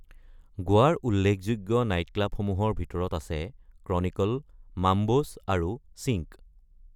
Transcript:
গোৱাৰ উল্লেখযোগ্য নাইটক্লাবসমূহৰ ভিতৰত আছে ক্ৰনিকল, মাম্বোছ আৰু চিনক।